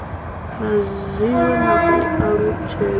na zwiwe na u alutshedza